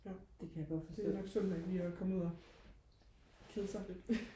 ja det er nok sundt nok lige og komme ud og kede sig lidt